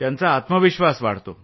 त्यांचा आत्मविश्वास वाढतो